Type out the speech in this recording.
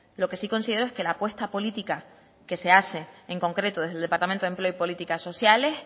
lo que sí considero es que la apuesta política que se hace en concreto desde el departamento de empleo y políticas sociales